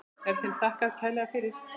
Er þeim þakkað kærlega fyrir.